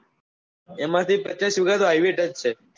એમાં થી પચાસ વિગાતો highway touch છે